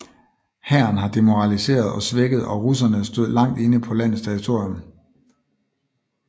Hæren var demoraliseret og svækket og russerne stod langt inde på landets territorium